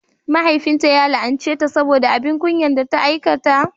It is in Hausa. Mahaifinta ya la'anceta saboda abin kunya da ta aikata.